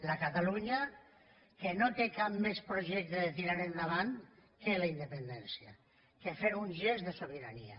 la catalunya que no té cap més projecte de tirar endavant que la independència que fer un gest de sobirania